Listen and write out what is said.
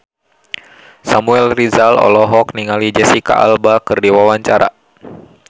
Samuel Rizal olohok ningali Jesicca Alba keur diwawancara